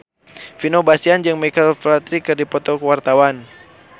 Vino Bastian jeung Michael Flatley keur dipoto ku wartawan